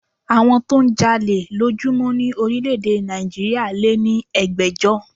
Àwọn tó ń jalè lójúmọ́ ni orílẹ̀ èdè Nàìjíríà lé ní ẹgbẹ̀jọ